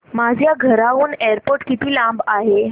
माझ्या घराहून एअरपोर्ट किती लांब आहे